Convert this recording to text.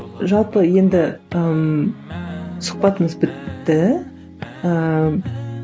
жалпы енді там сұхбатымыз бітті ііі